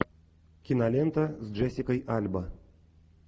кинолента с джессикой альба